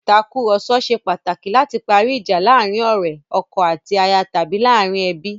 Ìtàkurọ̀sọ ṣe pàtàkì láti parí ìjà láàrin ọ̀rẹ́, ọkọ àti aya tàbí láàrin ẹbí.